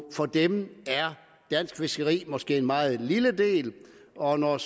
for dem er dansk fiskeri måske en meget lille del og når